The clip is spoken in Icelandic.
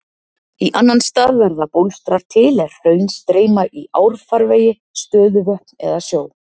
Í annan stað verða bólstrar til er hraun streyma í árfarvegi, stöðuvötn eða sjó.